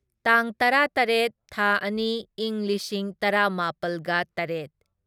ꯇꯥꯡ ꯇꯔꯥꯇꯔꯦꯠ ꯊꯥ ꯑꯅꯤ ꯢꯪ ꯂꯤꯁꯤꯡ ꯇꯔꯥꯃꯥꯄꯜꯒ ꯇꯔꯦꯠ